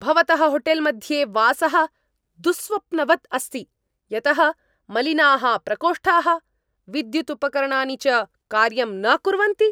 भवतः होटेल्मध्ये वासः दुःस्वप्नवद् अस्ति यतः मलिनाः प्रकोष्ठाः, विद्युदुपकरणानि च कार्यं न कुर्वन्ति।